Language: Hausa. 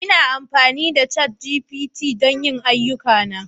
Ina amfani da ChatGPT don yin duk ayyukana